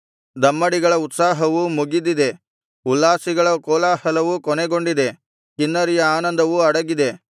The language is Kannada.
ದಮ್ಮಡಿಗಳ ಉತ್ಸಾಹವು ಮುಗಿದಿದೆ ಉಲ್ಲಾಸಿಗಳ ಕೋಲಾಹಲವು ಕೊನೆಗೊಂಡಿದೆ ಕಿನ್ನರಿಯ ಆನಂದವು ಅಡಗಿದೆ